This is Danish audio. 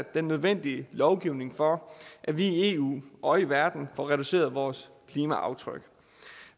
den nødvendige lovgivning for at vi i eu og i verden får reduceret vores klimaaftryk